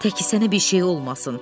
Təki sənə bir şey olmasın.